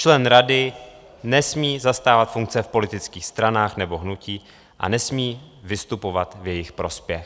Člen rady nesmí zastávat funkce v politických stranách nebo hnutích a nesmí vystupovat v jejich prospěch.